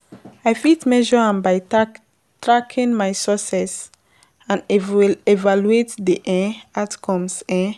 I fit measure am by tack tracking my success and ev evaluate di um outcomes. um